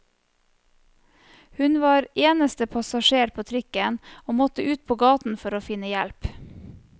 Hun var eneste passasjer på trikken, og måtte ut på gaten for å finne hjelp.